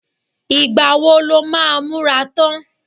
Ìgbà wo lo máa múra tán?